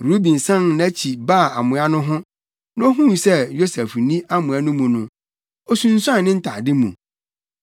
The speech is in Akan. Ruben san nʼakyi baa amoa no ho, na ohuu sɛ Yosef nni amoa no mu no, osunsuan ne ntade mu.